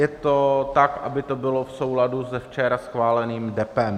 Je to tak, aby to bylo v souladu s včera schváleným Depem.